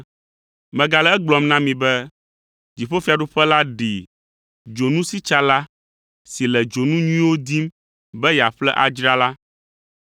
“Megale egblɔm na mi be, dziƒofiaɖuƒe la ɖi dzonusitsala si le dzonu nyuiwo dim be yeaƒle adzra la.